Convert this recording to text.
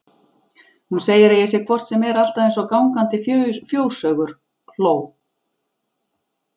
Hún segir að ég sé hvort sem er alltaf eins og gangandi fjóshaugur hló